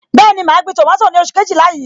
Bẹẹni, ma gbin tomato ni oṣù Kejìlá yìí.